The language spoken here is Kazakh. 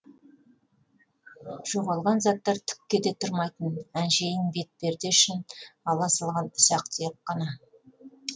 жоғалған заттар түкке де тұрмайтын әншейін бет перде үшін ала салған ұсақ түйек кана